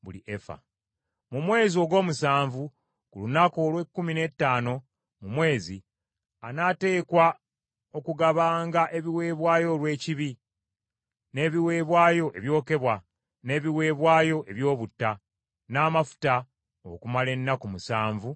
“ ‘Mu mwezi ogw’omusanvu, ku lunaku olw’ekkumi n’ettaano mu mwezi, anaateekwa okugabanga ebiweebwayo olw’ekibi, n’ebiweebwayo ebyokebwa, n’ebiweebwayo eby’obutta n’amafuta okumala ennaku musanvu ez’embaga.’